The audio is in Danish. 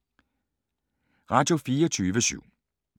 Radio24syv